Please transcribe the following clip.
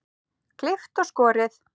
Klippt og skorið.